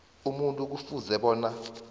umuntu kufuze bona